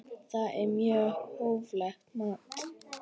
Það er mjög hóflegt mat.